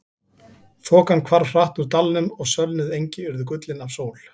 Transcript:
Þokan hvarf hratt úr dalnum og sölnuð engi urðu gullin af sól.